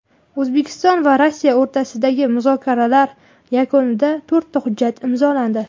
O‘zbekiston va Rossiya o‘rtasidagi muzokaralar yakunida to‘rtta hujjat imzolandi.